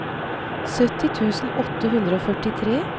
sytti tusen åtte hundre og førtitre